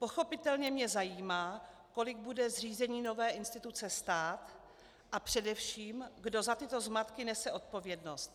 Pochopitelně mě zajímá, kolik bude zřízení nové instituce stát a především kdo za tyto zmatky nese odpovědnost.